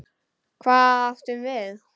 Hvað átum við?